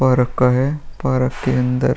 परक है। पार्क के अंदर --